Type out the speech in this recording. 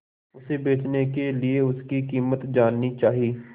उसे बचने के लिए उसकी कीमत जाननी चाही